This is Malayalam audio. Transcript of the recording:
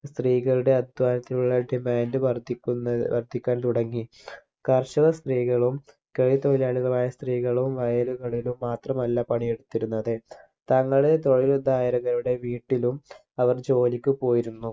സ്ത്രീകളുടെ അധ്വാനത്തിനുള്ള Demand വർധിക്കുന്ന വർധിക്കാൻ തുടങ്ങി കർഷക സ്ത്രീകളും കൈത്തൊഴിലാളികളായ സ്ത്രീകളും വയലുകളിലും മാത്രമല്ല പണി എടുത്തിരുന്നത് തങ്ങളെ തൊഴിൽ ധാരകരുടെ വീട്ടിലും അവർ ജോലിക്ക് പോയിരുന്നു